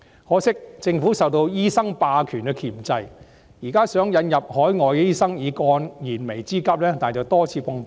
可惜，政府受到醫生霸權的箝制，現在想引入海外醫生以解燃眉之急，但卻多次碰壁。